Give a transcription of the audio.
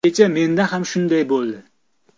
Kecha menda ham shunday bo‘ldi.